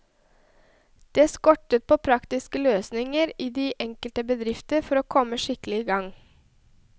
Det skorter på praktiske løsninger i de enkelte bedrifter for å komme skikkelig i gang.